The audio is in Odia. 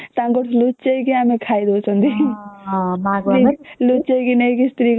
ତାଙ୍କର ଲୁଚେଇ କରି ଆମେ କହି ଦଉଛନ୍ତି ଲୁଚିକି ନେଇ ସ୍ତ୍ରୀ କୁ ଦଉଛନ୍ତି